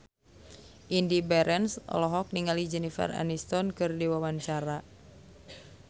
Indy Barens olohok ningali Jennifer Aniston keur diwawancara